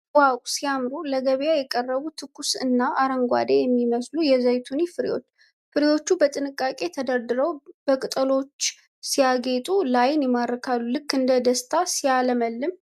ዋው ሲያምሩ ! ለገበያ የቀረቡ ትኩስ እና አረንጓደ የሚመስሉ የዘይቶኒ ፍሬዎች ! ፍሬዎቹ በጥንቃቄ ተደርድረው በቅጠሎች ሲያጌጡ ለዓይን ይማርካሉ ። ልክ እንደ ደስታ ሲያለመልም!